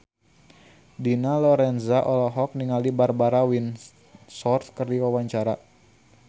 Dina Lorenza olohok ningali Barbara Windsor keur diwawancara